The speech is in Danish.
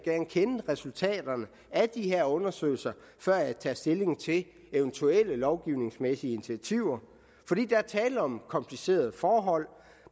kende til resultaterne af de her undersøgelser før jeg tager stilling til eventuelle lovgivningsmæssige initiativer fordi der er tale om nogle komplicerede forhold